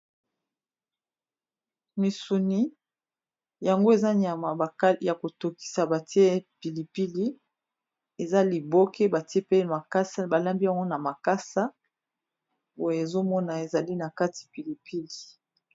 Misuni yango eza nyama ya kotokisa batie pilipili eza liboke batie pe makasa balambi yango na makasa boye ezomona ezali na kati pilipili.